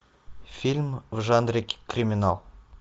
фильм в жанре криминал